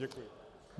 Děkuji.